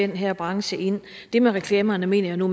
den her branche ind det med reklamerne mener jeg nu